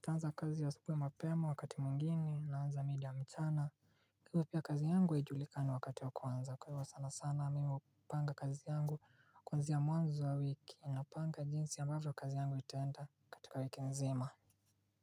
taanza kazi asubui na mapema wakati mwingine naanza mida ya mchana. Kwa ivo pia kazi yangu haijulikani wakati wa kuanza kwa hivo sana sana mimi upanga kazi yangu kwanzia mwanzo wa wiki napanga jinsi ambavo kazi yangu itaenda katika wiki nzima.